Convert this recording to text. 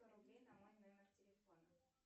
сто рублей на мой номер телефона